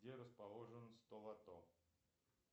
где расположен столото